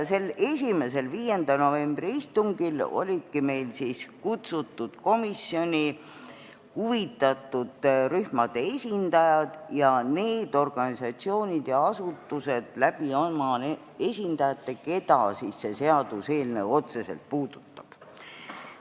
Sellel esimesel, 5. novembri istungil olidki meil kutsutud komisjoni huvitatud rühmade esindajad ning nende organisatsioonide ja asutuste esindajad, keda see seaduseelnõu otseselt puudutab.